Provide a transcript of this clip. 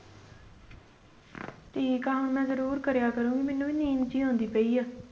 ਠੀਕ ਆ ਹੁਣ ਮੈਂ ਜ਼ਰੂਰ ਕਰਿਆ ਕਰੂੰਗੀ ਮੈਨੂੰ ਵੀ ਨੀਂਦ ਜਿਹੀ ਆਉਂਦੀ ਪਈ ਆ।